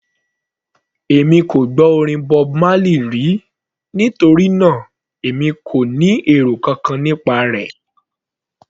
Èmi kò tíì gbọ́ orin Bob Marley rí, nítorí náà èmi kò ní èrò kankan nípa rẹ̀.